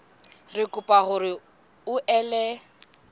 re kopa hore o ele